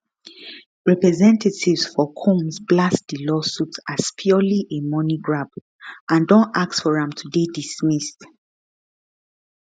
representatives for combs blast di lawsuit as purely a money grab and don ask for am to dey dismissed